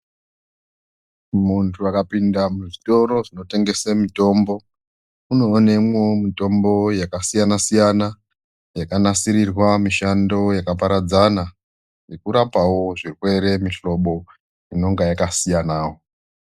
Muntu akapinda muzvitoro zvinotengese mitombo unoonemwo mitombo yakasiyana siyana yakanasirirwa mishando yakaparadzana yekurapawo zvekuyere mihlobo inonga yakasiyanawo .